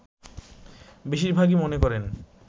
বেশিরভাগই মনে করেন